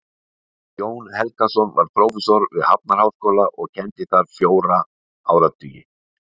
Jón Helgason var prófessor við Hafnarháskóla og kenndi þar fjóra áratugi.